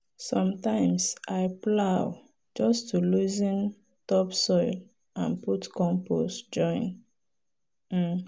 sometimes i plow just to loosen topsoil and put compost join. um